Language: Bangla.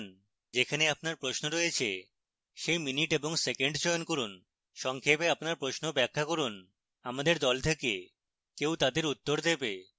যেখানে আপনার প্রশ্ন রয়েছে সেই minute এবং second চয়ন করুন সংক্ষেপে আপনার প্রশ্ন ব্যাখ্যা করুন আমাদের দল থেকে কেউ তাদের উত্তর দেবে